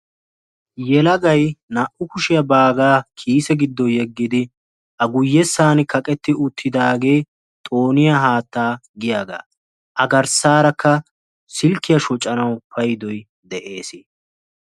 Yelagayi naa'u kushiya baagaa kiise giddo yeggidi a guyyessaani kaqetti uttidaagee xooniya haattaa giyagaa. A garssaarakka silkkiya shocanawu paydoyi de'es.